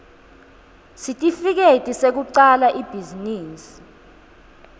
sitifiketi sekucala ibhizinisi